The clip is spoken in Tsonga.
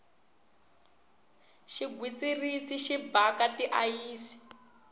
xigwitsirisi xi bhaka ti ayisi